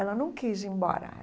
Ela não quis ir embora.